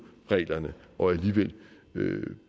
reglerne og alligevel